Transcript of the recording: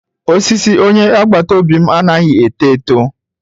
Osisi onye agbata obi m anaghị eto eto